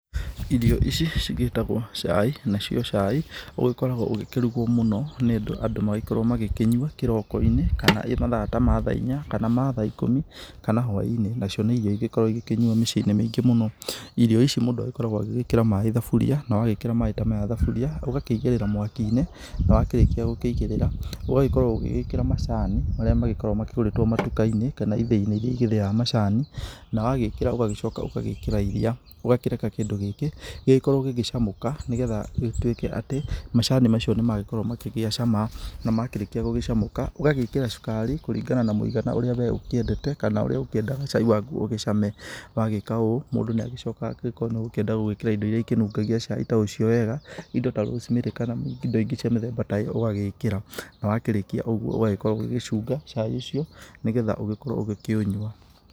Irio ici cigĩtagwo cai, nacio cai ũgĩkoragwo ũkĩrugwo mũno nĩ ũndũ andũ magagĩkorwo makĩnyua kĩroko-inĩ kana ĩ mathaa ta ma thaa inya kana mathaa ikũmi kana hwa-inĩ, nacio nĩ irio igĩkoragwo ikĩnyuo mĩciĩ-inĩ mĩingĩ mũno, irio ici mũndũ agĩkoragwo agĩkĩra maĩ thaburia na wagĩkĩra maĩ ta maya thaburia ũgakĩigĩrĩra mwaki-inĩ na wakĩrĩkĩa gũkũigĩrĩra ũgagĩkorwo ũgĩgĩkĩra macani marĩa magĩkoragwo makĩgũrĩtwo matuka-inĩ kana ithĩ-inĩ irĩa igĩthĩaga macani na wagĩkĩra ũgagĩcoka ũgagĩkĩra iria ũgakĩreka kĩndũ gĩkĩ gĩgĩkorwo gĩgĩcamũka, nĩgetha gĩtuĩke atĩ macani nĩ makĩgĩa cama na makĩrĩkia gũgĩcamũka ũgagĩkĩra cukari kũringana na mũigana ũrĩa ũkĩendete kana ũrĩa ũgĩkĩendaga cai waku ũcame ,wagĩka ũũ mũndũ nĩ agĩcokaga angĩkorwo nĩ ũgũkĩenda gwĩkĩra indo iria ikĩnungagia cai ũcio wega indo ta rosemary, kana indo ingĩ cia mũthemba ta ĩyo ũgagĩkĩra na wakĩrĩkia ũguo ũgagĩkorwo ũgĩcunga cai ũcio, nĩgetha ũgĩkorwo ũgĩkĩũnywa.